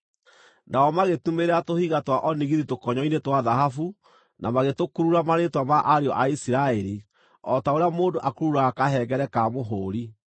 Nao magĩtumĩrĩra tũhiga twa onigithi tũkonyo-inĩ twa thahabu, na magĩtũkurura marĩĩtwa ma ariũ a Isiraeli, o ta ũrĩa mũndũ akururaga kahengere ka mũhũũri.